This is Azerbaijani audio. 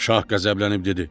Şah qəzəblənib dedi: